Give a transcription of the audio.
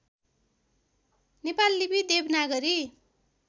नेपाल लिपि देवनागरी